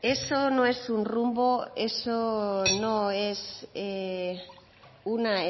eso no es un rumbo eso no es una